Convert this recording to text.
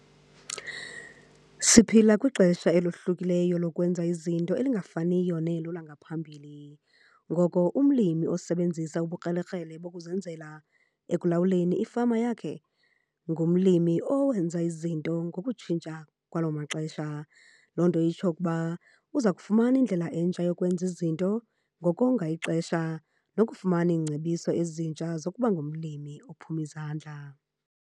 Siphila kwixesha elohlukileyo lokwenza izinto, elingafaniyo nelo langaphambili. Ngoko umlimi osebenzisa ubukrelekrele bokuzenzela ekulawuleni ifama yakhe ngumlimi owenza izinto ngokutshintsha kwaloo maxesha. Loo nto itsho ukuba uza kufumana indlela entsha yokwenza izinto ngokonga ixesha nokufumana iingcebiso ezintsha zokuba ngumlimi ophuma izandla.